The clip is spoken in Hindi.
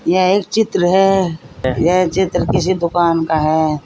यह एक चित्र है यह चित्र किसी दुकान का है।